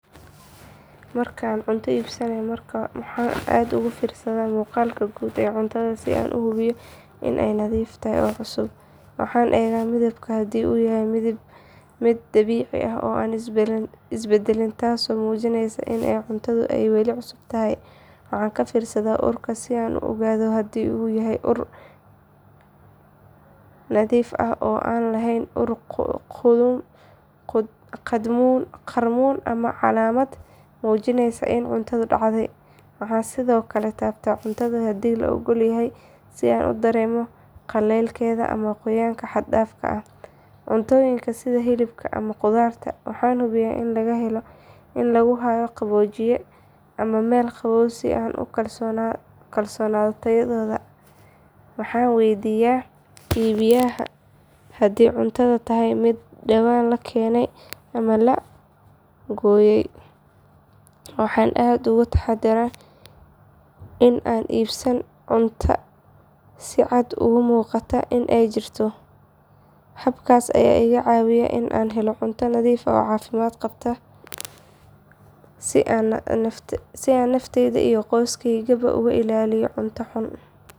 Marka aan cunto iibsanayo waxaan aad ugu fiirsadaa muuqaalka guud ee cuntada si aan u hubiyo in ay nadiif tahay oo cusub. Waxaan eegaa midabka haddii uu yahay mid dabiici ah oo aan isbedelin taasoo muujinaysa in cuntadu ay weli cusub tahay. Waxaan ka fiirsadaa urka si aan u ogaado haddii uu yahay ur nadiif ah oo aan lahayn ur qadhmuun ama calaamad muujinaysa in cuntadu dhacay. Waxaan sidoo kale taabtaa cuntada haddii la oggol yahay si aan u dareemo qallaylkeeda ama qoyaan xad dhaaf ah. Cuntooyinka sida hilibka ama khudaarta waxaan hubiyaa in lagu hayo qaboojiye ama meel qabow si aan u kalsoonaado tayadooda. Waxaan weydiiyaa iibiyaha haddii cuntadu tahay mid dhawaan la keenay ama la gooyay. Waxaan aad uga taxadaraa in aanan iibsan cunto si cad uga muuqata in ay jirto. Habkaas ayaa iga caawiya in aan helo cunto nadiif ah oo caafimaad qabta si aan nafteyda iyo qoyskaygaba uga ilaaliyo cunto xun.